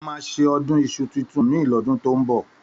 Àmá sẹ ọ̀dún ìsú títùn mi lọ̀dún tọ ń mbọ